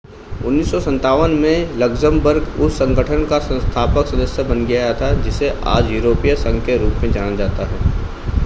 1957 में लक्जमबर्ग उस संगठन का संस्थापक सदस्य बन गया था जिसे आज यूरोपीय संघ के रूप में जाना जाता है